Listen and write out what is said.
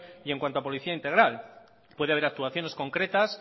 y en cuanto a policía integral puede haber actuaciones concretas